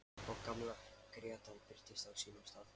Og gamla grettan birtist á sínum stað.